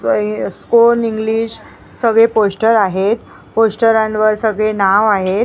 स्कोन English सगळे poster आहेत पोस्टरांवर सगळे नाव आहेत.